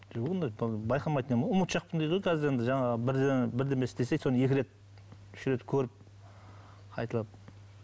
жоқ ондай байқамайтын едім ғой ұмытшақпын дейді ғой қазір енді жаңағы бірдеңе бірдеңе істесе соны екі рет үш рет көріп қайталап